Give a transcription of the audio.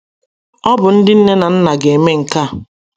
Ọ bụ ndị nne na nna ga - eme nke a.